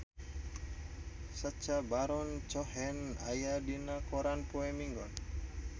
Sacha Baron Cohen aya dina koran poe Minggon